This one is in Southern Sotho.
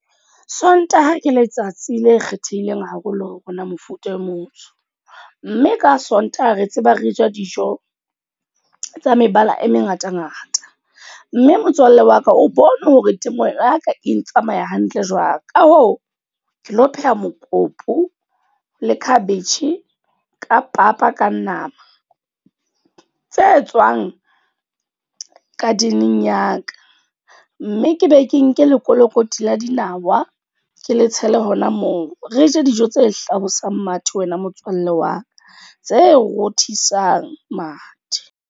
Sontaha ke letsatsi le e kgethehileng haholo ho rona mofuta o motsho. Mme ka Sontaha re tseba re ja dijo tsa mebala e mengata-ngata. Mme motswalle wa ka o bone hore temo ya ka e tsamaya hantle jwang. Ka hoo, ke lo pheha mokopu, le khabetjhe ka papa ka nama. Tse tswang garden-eng ya ka. Mme ke be ke nke lekolokoti la dinawa, ke le tshele hona moo. Re je dijo tse hlabosang mathe wena motswalle wa ka, tse rothisang mathe.